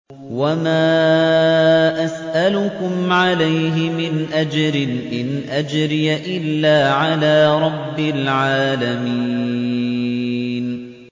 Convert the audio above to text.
وَمَا أَسْأَلُكُمْ عَلَيْهِ مِنْ أَجْرٍ ۖ إِنْ أَجْرِيَ إِلَّا عَلَىٰ رَبِّ الْعَالَمِينَ